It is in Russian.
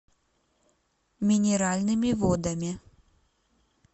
минеральными водами